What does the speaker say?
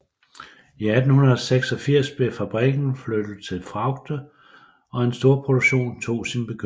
I 1886 blev fabrikken flyttet til Fraugde og en storproduktion tog sin begyndelse